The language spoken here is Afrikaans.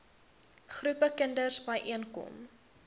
groepe kinders byeenkom